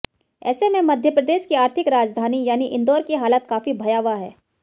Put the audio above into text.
ऐसे में मध्य प्रदेश की आर्थिक राजधानी यानी इंदौर की हालत काफी भयावह है